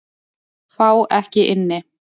Fá ekki inni